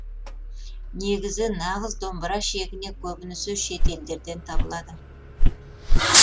негізі нағыз домбыра шегіне көбінесе шет елдерден табылады